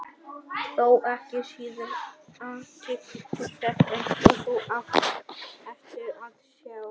Þó ekki síður athyglisvert, eins og þú átt eftir að sjá.